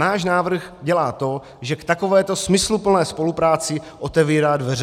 Náš návrh dělá to, že k takovéto smysluplné spolupráci otevírá dveře.